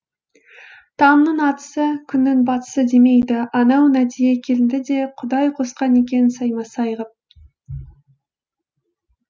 таңның атысы күннің батысы демейді анау нәдие келінді де құдай қосқан екен сайма сай ғып